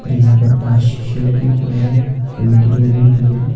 और यहां पर पांच शीशे लगे हुए हैं पेंटिंग लगी हुई है।